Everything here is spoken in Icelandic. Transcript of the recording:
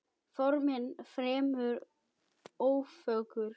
Formin fremur ófögur.